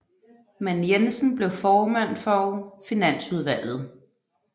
Men Jensen blev formand for finansudvalget